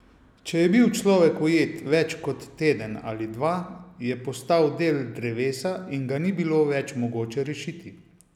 Če je bil človek ujet več kot teden ali dva, je postal del drevesa in ga ni bilo več mogoče rešiti.